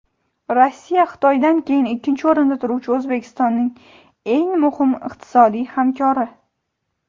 Rossiya Xitoydan keyin ikkinchi o‘rinda turuvchi O‘zbekistonning eng muhim iqtisodiy hamkori.